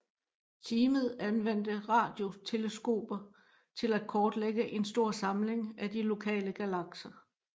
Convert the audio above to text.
Teamet anvendte radioteleskoper til at kortlægge en stor samling af de lokale galakser